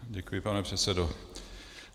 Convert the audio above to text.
Děkuji, pane předsedo.